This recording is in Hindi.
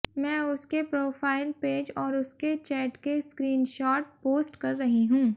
मैं उसके प्रोफाइल पेज और उसके चैट के स्क्रीन शॉट पोस्ट कर रही हूँ